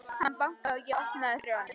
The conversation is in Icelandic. Hann bankaði og ég opnaði fyrir honum.